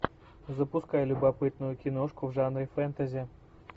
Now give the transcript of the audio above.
запускай любопытную киношку в жанре фентези